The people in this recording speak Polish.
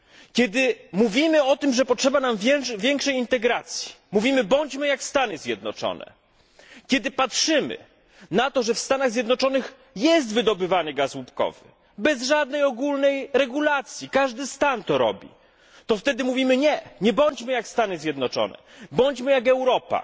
Kiedy mówimy o tym, że potrzebna nam jest większa integracja, kiedy mówimy bądźmy jak Stany Zjednoczone, kiedy patrzymy na to, że w Stanach Zjednoczonych gaz łupkowy jest wydobywany bez żadnej ogólnej regulacji, każdy stan to robi, to wtedy mówimy nie, nie bądźmy jak Stany Zjednoczone, bądźmy jak Europa!